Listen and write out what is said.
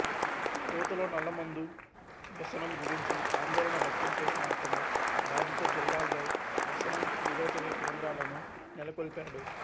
యువతలో నల్లమందు వ్యసనం గురించి ఆందోళన వ్యక్తం చేసిన అతను బాధిత జిల్లాల్లో వ్యసనం నిరోధక కేంద్రాలను నెలకొల్పాడు